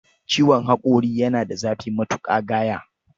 Ciwon haƙori yana da zafi matuƙa gaya